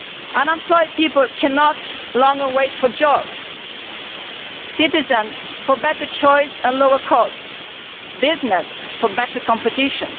Unemployed people cannot wait any longer for jobs, citizens for better choice and lower costs, business for better competition.